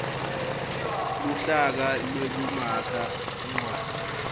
luhlaka lwekumakha incwadzi